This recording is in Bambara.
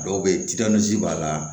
A dɔw bɛ yen b'a la